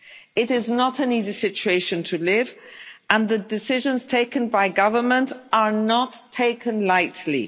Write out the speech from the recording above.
It is not an easy situation to live in, and the decisions taken by government are not taken lightly.